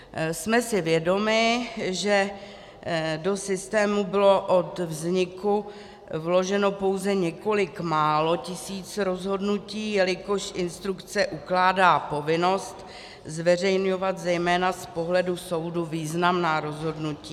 Jsme si vědomi, že do systému bylo od vzniku vloženo pouze několik málo tisíc rozhodnutí, jelikož instrukce ukládá povinnost zveřejňovat zejména z pohledu soudu významná rozhodnutí.